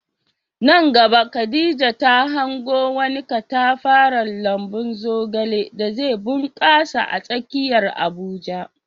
Nan gaba Khadija ta hango wani katafaren lambun zogale da zai bunkasa a tsakiyar Abuja.